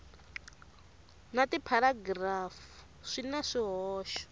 na tipharagirafu swi na swihoxo